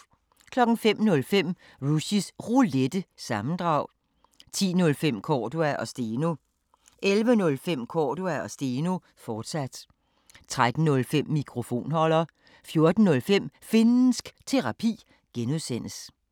05:05: Rushys Roulette – sammendrag 10:05: Cordua & Steno 11:05: Cordua & Steno, fortsat 13:05: Mikrofonholder 14:05: Finnsk Terapi (G)